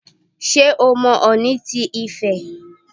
Ṣé o mọ Ọọ̀ni ti Ifẹ̀?